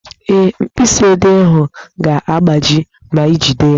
Ee, mkpịsị odee ahụ ga-agbaji ma ijide ya